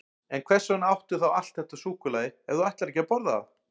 En hvers vegna áttu þá allt þetta súkkulaði ef þú ætlar ekki að borða það?